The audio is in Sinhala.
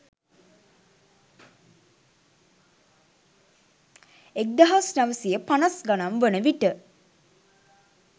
එක්දහස් නවසිය පනස් ගණන් වන විට